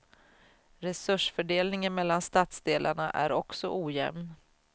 Resursfördelningen mellan stadsdelarna är också ojämn.